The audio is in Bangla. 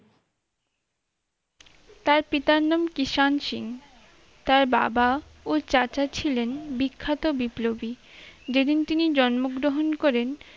তার পিতার নাম কৃষাণ সিং তার বাবা ও চাচা ছিলেন বিখ্যাত বিপ্লবী যেদিন তিনি জন্মগ্রহণ করেন